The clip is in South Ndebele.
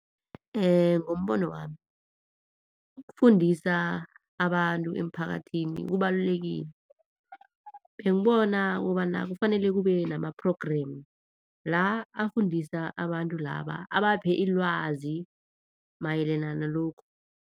Ngombono wami, ukufundisa abantu emphakathini kubalulekile bengibona kobana kufanele kube nama-programme la afundisa abantu laba abaphe ilwazi mayelena nalokhu.